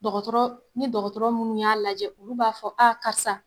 Dɔgɔtɔrɔɔ ni dɔgɔtɔrɔ munnu y'a lajɛ olu b'a fɔ a karisa